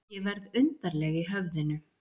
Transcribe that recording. Ég verð undarleg í höfðinu.